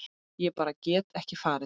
Ég bara get ekki farið